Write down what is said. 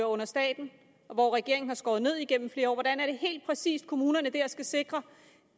under staten og hvor regeringen har skåret ned igennem flere år hvordan er det helt præcis at kommunerne dér skal sikre